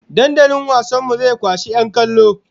Dandalin wasan mu zai kwashi 'yan kallo!